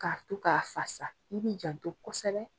K'a to k'a fasa, i bi janto kosɛbɛ